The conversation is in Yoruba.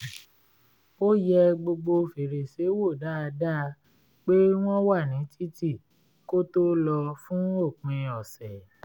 ó yẹ gbogbo fèrèsé wò dáadáa pé wọ́n wà ní títì kó tó lọ fún òpin ọ̀sẹ̀